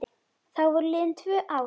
Þá voru liðin tvö ár.